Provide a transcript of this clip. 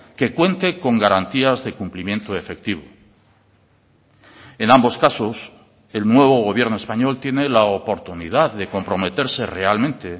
que cuente con garantías de cumplimiento efectivo en ambos casos el nuevo gobierno español tiene la oportunidad de comprometerse realmente